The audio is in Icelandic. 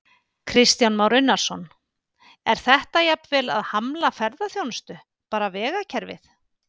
Kristján Már Unnarsson: Er þetta jafnvel að hamla ferðaþjónustu, bara vegakerfið?